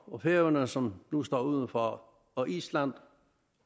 og færøerne som nu står udenfor og island